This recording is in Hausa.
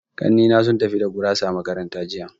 Ƙanni na sun tafi da gurasa makaranta jiya.